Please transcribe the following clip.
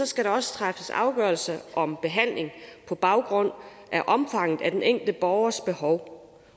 skal der træffes afgørelse om behandling på baggrund af omfanget af den enkelte borgers behov